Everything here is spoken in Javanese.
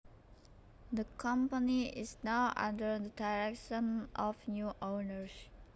The company is now under the direction of new owners